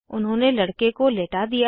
उन्होंने लड़के को लेटा दिया